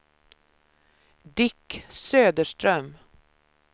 Dick Söderström